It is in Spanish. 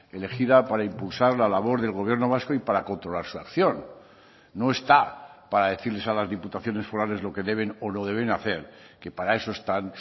elegida para impulsar la labor del gobierno vasco y para controlar su acción no está para decirles a las diputaciones forales lo que deben o no deben hacer que para eso están